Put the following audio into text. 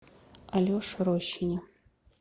алеше рощине